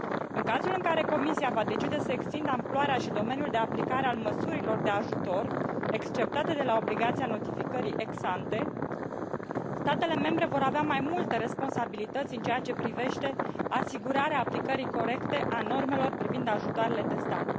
În cazul în care Comisia va decide să extindă amploarea și domeniul de aplicare al măsurilor de ajutor exceptate de la obligația notificării ex ante statele membre vor avea mai multe responsabilități în ceea ce privește asigurarea aplicării corecte a normelor privind ajutoarele de stat.